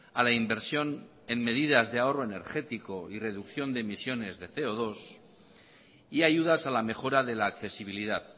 a la inversión en medidas de ahorro energético y reducción de emisiones de ce o dos y ayudas a la mejora de la accesibilidad